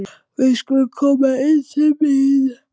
Við skulum koma inn til mín